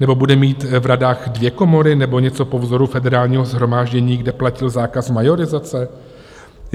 Nebo bude mít v radách dvě komory nebo něco po vzoru Federálního shromáždění, kde platil zákaz majorizace?